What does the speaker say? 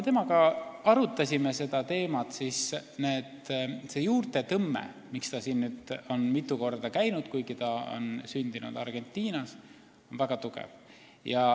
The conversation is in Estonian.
Me arutasime temaga seda teemat ja ta ütles, et see juurte tõmme, miks ta on siin nüüd mitu korda käinud, kuigi ta on sündinud Argentinas, on väga tugev.